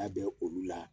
Labɛn olu la